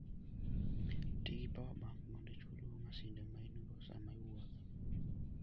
Ti gi power bank mondo ichulgo masinde ma in-go sama iwuotho.